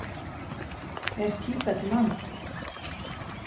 Er Tíbet land?